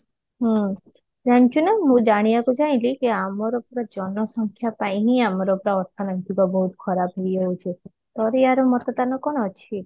ହୁଁ ଜାଣିଛୁ ନା ମୁଁ ଜାଣିବାକୁ ପାଇଲି କି ଆମର ପୁରା ଜନ ସଂଖ୍ୟା ପାଇଁ ହିନ ଆମର ତ ଅର୍ଥନୈତିକ ବହୁତ ଖରାପ ହେଇଯାଉଛି ତୋର ଆର ମତଦାନ କଣ ଅଛି?